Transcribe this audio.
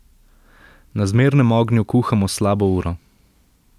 Na zmernem ognju kuhamo slabo uro.